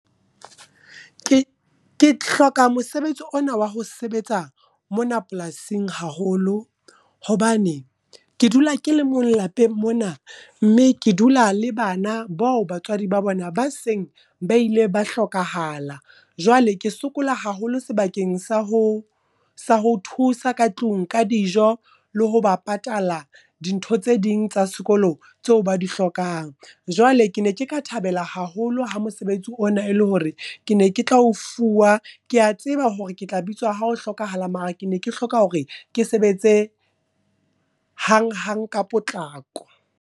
Ke ke hloka mosebetsi ona wa ho sebetsa mona polasing haholo, hobane ke dula ke le mong lapeng mona. Mme ke dula le bana bao batswadi ba bona ba seng ba ile ba hlokahala. Jwale ke sokola haholo sebakeng sa ho thusa ka tlung ka dijo, le ho ba patala dintho tse ding tsa sekolo tseo ba di hlokang. Jwale ke ne ke ka thabela haholo ha mosebetsi ona e le hore ke ne ke tla o fuwa, ke a tseba hore ke tla bitswa ha ho hlokahala. Mara ke ne ke hloka hore ke sebetse hang-hang ka potlako.